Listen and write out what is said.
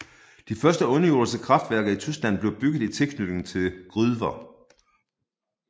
De første underjordiske kraftværker i Tyskland blev bygget i tilknytning til gruver